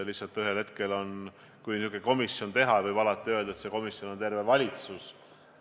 Lihtsalt, ühel hetkel, kui niisugune komisjon teha, võib alati öelda, et see komisjon on terve valitsus.